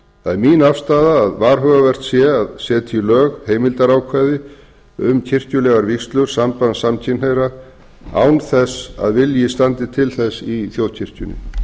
það er mín afstaða að varhugavert sé að setja í lög heimildarákvæði um kirkjulegar vígslur samband samkynhneigðra án þess að vilji standi til þess í þjóðkirkjunni